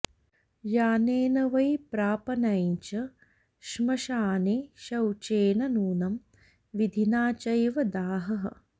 यानेन वै प्रापनं च श्मशाने शौचेन नूनं विधिना चैव दाहः